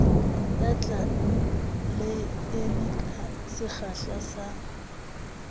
ya tleleime ka sekgahla sa